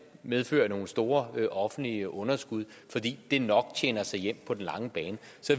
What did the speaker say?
medfører nogle store offentlige underskud fordi det nok tjener sig hjem på den lange bane